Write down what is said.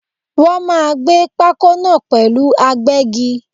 Wọ́n máà ń gbé pákó náà pẹ̀lú agbẹ́gi.